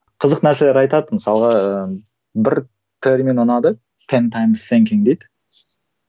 қызық нәрселер айтады мысалға ы бір термин ұнады